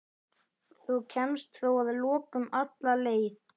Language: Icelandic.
Þú kemst þó að lokum alla leið.